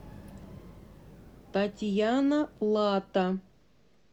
татьяна лата